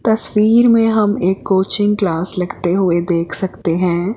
तस्वीर में हम एक कोचिंग क्लास लगते हुए देख सकते हैं।